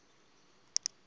ezibeleni